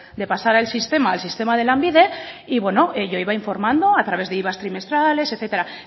de pasar al sistema al sistema de lanbide y bueno yo iba informando a través de iva trimestrales etcétera